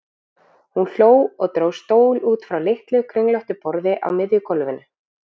Hún hló og dró stól út frá litlu, kringlóttu borði á miðju gólfinu.